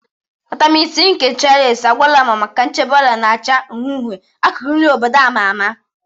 Vitamin C nke Cherish agwaluma maka nchebe ọrịa na acha uhie uhie, akụkụ nri obodo a ma ama.